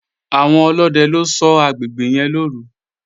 Àwọn ọlódẹ ló ṣọ́ agbègbè yẹn lọ́òru